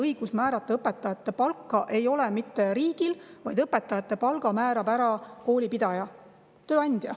Õigus määrata õpetajate palka ei ole mitte riigil, vaid õpetajate palga määrab koolipidaja, tööandja.